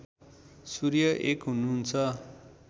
सूर्य एक हुनुहुन्छ